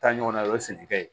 Taa ɲɔgɔn na o ye sɛnɛkɛ ye